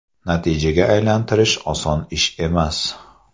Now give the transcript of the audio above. Natijaga aylantirish oson ish emas.